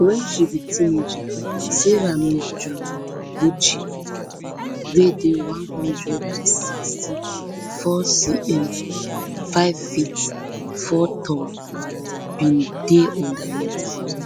wen she she be teenager sarah mizugochi wey dey one hundred and sixty-fourcm fiveft four tall bin dey underweight